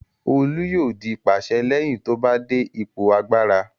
Olu yóò di pàṣẹ lẹ́yìn tó bá dé ipò agbára.